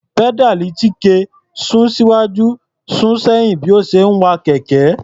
Pẹ́dáàlì Chike sún síwájú sún sẹ́yìn bí ó ṣe ń wa kẹ̀kẹ́.